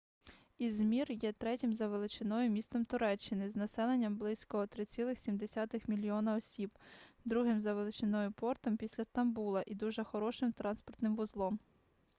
ізмір є третім за величиною містом туреччини з населенням близько 3,7 мільйона осіб другим за величиною портом після стамбула і дуже хорошим транспортним вузлом